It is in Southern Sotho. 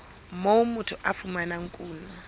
moo motho a fumanang kuno